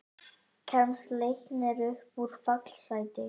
Kemst Leiknir upp úr fallsæti?